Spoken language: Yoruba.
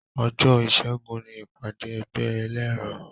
Òjó ìṣẹ́gun ni ìpàdé ẹgbẹ́ ẹlẹ́rọ